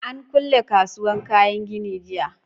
An kule kasuwar kayan gini jiya